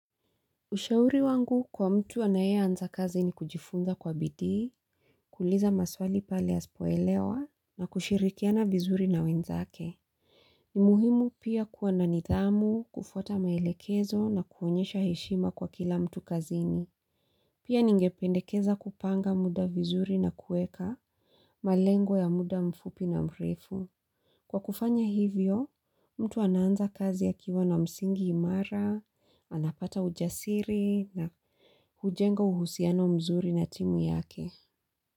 Ushauri wangu kwa mtu anayeanza kazi ni kujifunza kwa bidii, kuuliza maswali pale hasipoelewa, na kushirikiana vizuri na wenzake. Ni muhimu pia kuwa na nithamu, kufuata maelekezo na kuonyesha heshima kwa kila mtu kazini. Pia ningependekeza kupanga muda vizuri na kuweka, malengo ya muda mfupi na mrefu. Kwa kufanya hivyo, mtu ananza kazi ya kiwa na msingi imara, anapata ujasiri na hujenga uhusiano mzuri na timu yake.